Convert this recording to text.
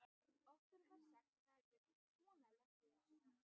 Okkur var sagt að það hefði kona lent í þessu.